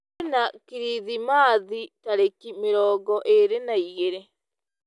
kwĩna kĩrĩthĩmathĩ tarĩkĩ mĩrongo ĩrĩ na ĩgĩrĩ